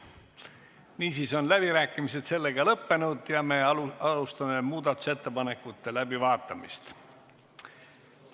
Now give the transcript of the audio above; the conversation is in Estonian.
Niisiis on läbirääkimised lõppenud ja me alustame muudatusettepanekute läbivaatamist.